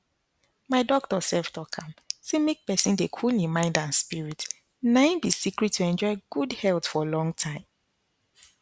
my doctor sef talk am say make pesin dey cool hin mind and spirit na im be secret to enjoy good health for long time